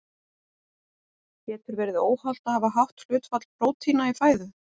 Getur verið óhollt að hafa hátt hlutfall prótína í fæðu?